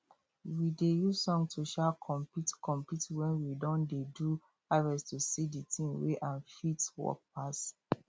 we dey use song to um compete compete when we don dey do harvest to see the team wey um fit work pass